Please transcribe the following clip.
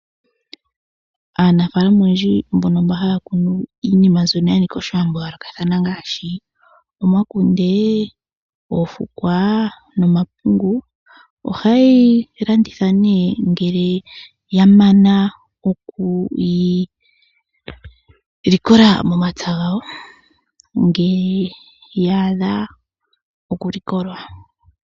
Aanafalama oyendji mbono mba haya kunu iinima mbyono ya nika oshiwambo yayoolokathana ngaashi omakunde, oofukwa nomapungu. Oha yeyi landitha nee ngele ya mana okuyi likola momapya gawo ngele ya adha oku likolwa.